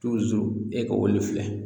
e ka olu filɛ